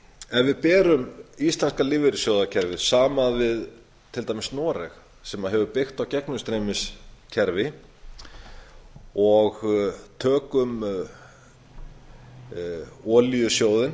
ef vi berum íslenska lífeyrissjóðakerfið saman við til dæmis noreg sem hefur byggt á gegnumstreymiskerfi og tökum olíusjóðinn